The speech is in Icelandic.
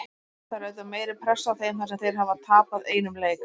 Það er auðvitað meiri pressa á þeim þar sem þeir hafa tapað einum leik.